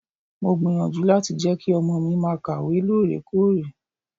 Mo gbìyànjú láti jẹ́ kí ọmọ mi máa kàwé lóòrèkóòrè.